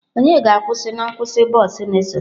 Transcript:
Onye ga-akwụsị na nkwụsị bọs na-esote?